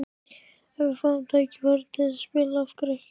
Ef við fáum tækifærið til að spila, af hverju ekki?